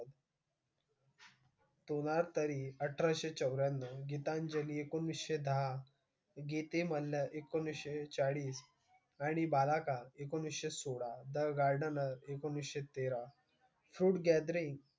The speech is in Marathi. सोनार तारी अठराशे चौऱ्याण्णव, गीतांजली एकोणीसशे दहा, एकोणीसशे चाळीस, आणि एकोणीसशे सोळा, the gardener एकोणीसशे तेरा, food gathering,